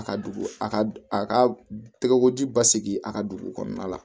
A ka dugu a ka a ka tɛgɛkoji basigi a ka dugu kɔnɔna la